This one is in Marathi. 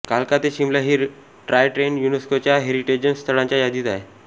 कालका ते शिमला ही टाॅय ट्रेन युनेस्कोच्या हेरिटेज स्थळांच्या यादीत आहे